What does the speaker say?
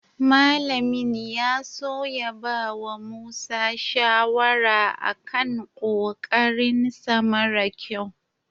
Malamin ya so ya bawa Musa shawara a kan ƙoƙarinsa mara ƙyau.